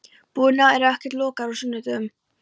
Búðirnar eru ekkert lokaðar á sunnudögum.